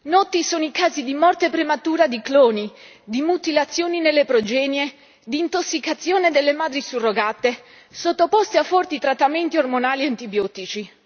Noti sono i casi di morte prematura di cloni, di mutilazioni nelle progenie, di intossicazione delle madri surrogate, sottoposte a forti trattamenti ormonali e antibiotici.